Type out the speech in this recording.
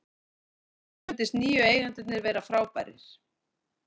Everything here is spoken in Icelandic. Mér hefur fundist nýju eigendurnir vera frábærir.